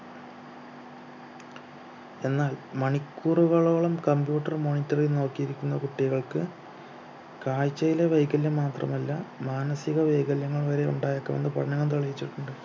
എന്നാൽ മണിക്കൂറുകളോളം computer monitor ൽ നോക്കിയിരിക്കുന്ന കുട്ടികൾക്ക് കാഴ്ചയിലെ വൈകല്യം മാത്രമല്ല മാനസിക വൈകല്യങ്ങൾ വരെ ഉണ്ടായേക്കാമെന്ന് പഠനങ്ങൾ തെളിയിച്ചിട്ടുണ്ട്